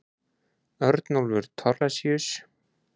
Örnólfur Thorlacius.